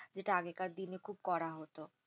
যেটা আগেরকার দিনে খুব করা হত।